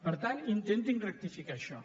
per tant intentin rectificar això